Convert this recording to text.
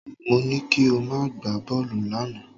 Mo ní kí o má gbá bọ́ọ̀lù lánàá